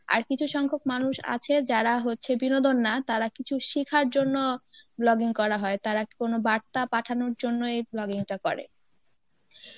আর কিছু সংখ্যক মানুষ আছে যারা হচ্ছে বিনোদন না তারা কিছু শেখার জন্য vlogging করা হয় তারা কি কোন বার্তা পাঠানোর জন্য এই vlogging টা করে